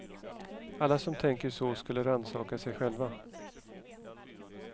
Alla som tänker så skulle rannsaka sig själva.